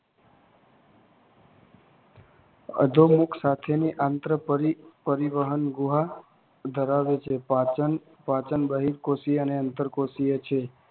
અધોમુખ સાથે ની આંતરપરિવહન ગુહા ધરાવે છે. પાચન બાહ્યકોષીય અને અંતરકોષીય છે